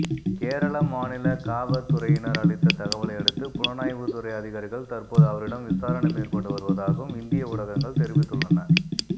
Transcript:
கேரள மாநில காவற்துறையினர் அளித்த தகவலையடுத்து புலனாய்வுத்துறை அதிகாரிகள் தற்போது அவரிடம் விசாரணை மேற்கொண்டு வருவதாகவும் இந்திய ஊடகங்கள் தெரிவித்துள்ளன